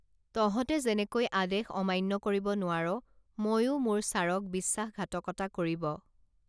তহঁতে যেনেকৈ আদেশ অমান্য কৰিব নোৱাৰ মইও মোৰ ছাৰক বিশ্বাসঘাতকতা কৰিব